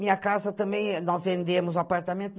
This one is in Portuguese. Minha casa também, nós vendemos o apartamento.